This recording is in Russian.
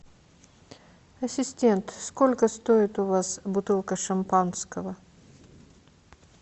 ассистент сколько стоит у вас бутылка шампанского